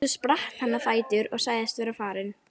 Svo spratt hann á fætur og sagðist vera farinn.